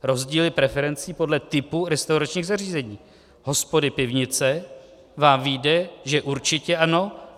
Rozdíly preferencí podle typu restauračních zařízení, hospody, pivnice, vám vyjde, že určitě ano.